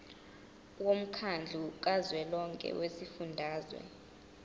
womkhandlu kazwelonke wezifundazwe